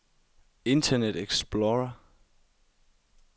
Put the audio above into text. internet explorer